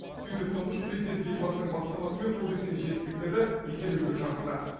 сөйтіп тұңғыш президент елбасының бастамасымен қол жеткен жетістіктерді еселеуге шақырды